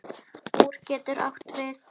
Úr getur átt við